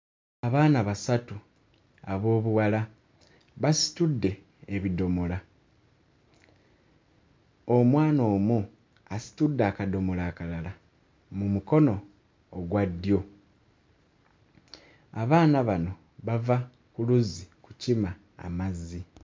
Abaana basatu ab'obuwala basitudde ebidomola. Omwana omu asitudde akadomola akalala mu mukono ogwa ddyo. Abaana bano bava ku luzzi kukima amazzi.